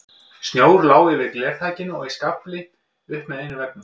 Snjór lá yfir glerþakinu og í skafli upp með einum veggnum.